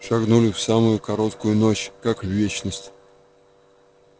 шагнули в самую короткую ночь как в вечность